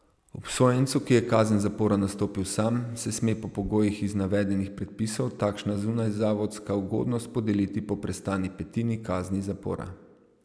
Obsojencu, ki je kazen zapora nastopil sam, se sme po pogojih iz navedenih predpisov takšna zunajzavodska ugodnost podeliti po prestani petini kazni zapora.